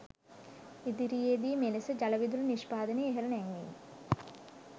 ඉදිරියේදී මෙලෙස ජලවිදුලි නිෂ්පාදනය ඉහළ නැංවීම